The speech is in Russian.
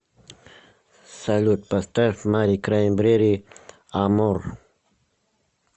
салют поставь мари краймбрери амор